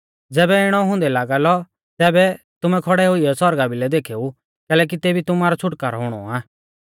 ज़ैबै इणौ हुंदै लागा लौ तैबै तुमै खौड़ै हुईयौ सौरगा भिलै देखेऊ कैलैकि तेबी तुमारौ छ़ुटकारौ हुणौ आ